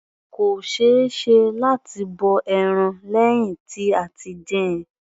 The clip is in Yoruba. Kò ṣeéṣe láti bọ ẹran lẹ́hìn tí a ti dín-in.